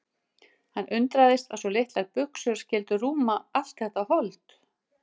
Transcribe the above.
Hann undraðist að svo litlar buxur skyldu rúma allt þetta hold.